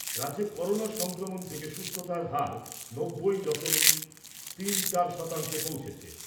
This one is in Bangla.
রাজ্যে করোনা সংক্রমণ থেকে সুস্থতার হার নব্বই দশমিক তিন চার শতাংশে পৌঁছেছে।